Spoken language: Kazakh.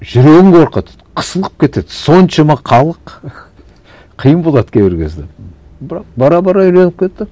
жүрегің қорқады қысылып кетеді соншама халық қиын болады кейбір кезде бірақ бара бара үйреніп кетті